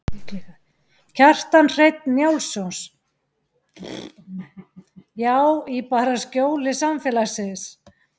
Kjartan Hreinn Njálsson: Já, í bara skjóli samfélagsins?